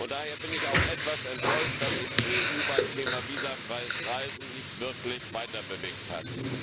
Daher bin ich auch etwas enttäuscht, dass sich die EU beim Thema visafreies Reisen nicht wirklich weiterbewegt hat.